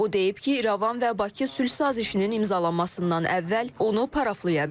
O deyib ki, İrəvan və Bakı sülh sazişinin imzalanmasından əvvəl onu paraflaya bilər.